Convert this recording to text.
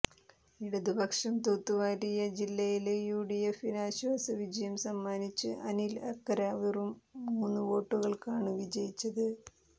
ഇടതുപക്ഷം തൂത്തുവാരിയ ജില്ലയില് യുഡിഎഫിന് ആശ്വാസ വിജയം സമ്മാനിച്ച് അനില് അക്കര വെറും മൂന്ന് വോട്ടുകള്ക്കാണ് വിജയിച്ചത്